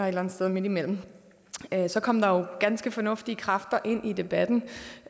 eller andet sted midtimellem så kom der jo ganske fornuftige kræfter ind i debatten